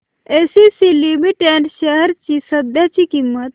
ACC limited shares ची सध्याची किंमत